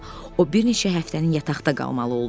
O bir neçə həftənin yataqda qalmalı oldu.